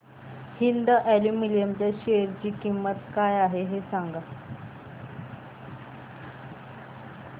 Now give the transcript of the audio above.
Hind aluminium च्या share ची किंमत काय आहे हे सांगा